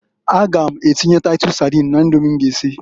A ga m atinye taitus sadin na Idomi m ga esi.